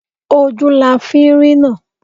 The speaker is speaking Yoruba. Ojú la fi ń rína